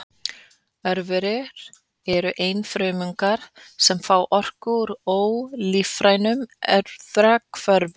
Örverur eru einfrumungar sem fá orku úr ólífrænum efnahvörfum.